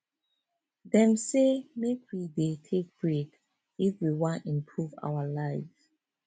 dem say make we make we dey take break if we wan improve our life